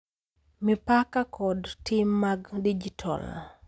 Mipaka, kod tim mag dijital.